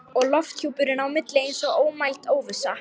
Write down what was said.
Og lofthjúpurinn á milli eins og ómæld óvissa.